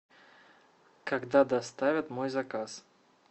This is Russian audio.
когда доставят мой заказ